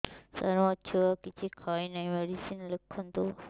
ସାର ମୋ ଛୁଆ କିଛି ଖାଉ ନାହିଁ ମେଡିସିନ ଲେଖନ୍ତୁ